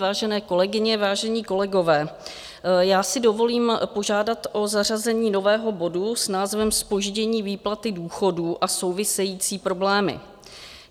Vážené kolegyně, vážení kolegové, já si dovolím požádat o zařazení nového bodu s názvem Zpoždění výplaty důchodů a související problémy.